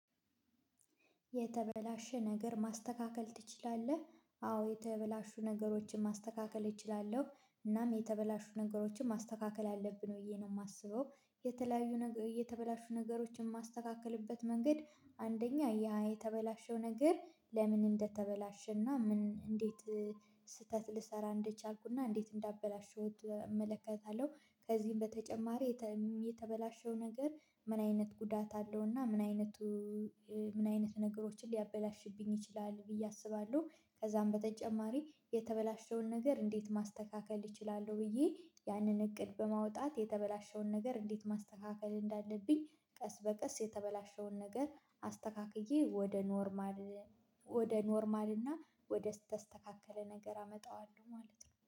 የተበላሸ ነገር ማስተካከል ትችላለህ? አዎ የተበላሹ ነገሮችን ማስተካከል እችላለሁ እናም የተበላሹ ነገሮችን ማስተካከል አለብን ወዬ ነው የማስበው። የተለያዩ ነገር የተበላሹ ነገሮችን የማስተካክልበት መንገድ አንደኛ ያ የተበላሸው ነገር ለምን እንደተበላሸና ምን እንዴት ስህተት ልሰራ እንደቻልኩና እንዴት እንዳበላሸሁት እመለከታለሁ። ከዚህም በተጨማሪ። የተበላሸው ነገር ምን አይነት ጉዳት አለው እና ምን አይነቱ? ምን አይነት ነገሮችን ሊያበላሽብኝ ይችላል ብዬ አስባለሁ። ከዛም በተጨማሪ የተበላሸውን ነገር እንዴት ማስተካከል እችላለሁ ብዬ ያንን እቅድ በማውጣት የተበላሸውን ነገር እንዴት ማስተካከል እንዳለብኝ ቀስ በቀስ የተበላሸውን ነገር አስተካክዬ ወደ ኖርማል ወደ ኖርማል እና ወደ ስተስተካከለ ነገር አመጣዋለሁ ማለት ነው